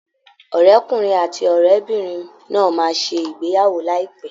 Ọ̀rẹ́kùnrin àti ọ̀rẹ́bìnrin náà máa ṣe ìgbéyàwó láìpẹ́